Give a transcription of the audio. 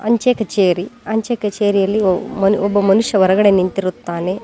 ಅಂಚೆ ಕಚೇರಿ ಅಂಚೆ ಕಚೇರಿಯಲ್ಲಿ ಓ ಮನ್ ಒಬ್ಬ ಮನುಷ್ಯ ಹೊರಗಡೆ ನಿಂತಿರುತ್ತಾನೆ.